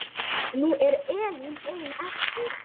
Nú er Elína ein eftir.